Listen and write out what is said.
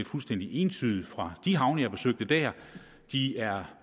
fuldstændig entydig fra de havne jeg besøgte der de er